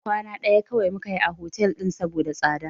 Kwana ɗaya kawai muka yi a hotel ɗin saboda tsada.